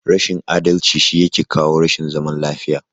Rashin adalci shi yake kawo rashin zaman lafiya.